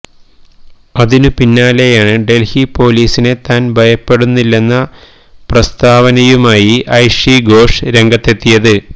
അതിനു പിന്നാലെയാണ് ഡൽഹി പൊലീസിനെ താൻ ഭയപ്പെടുന്നില്ലെന്ന പ്രസ്താവനയുമായി ഐഷി ഘോഷ് രംഗത്തെത്തിയത്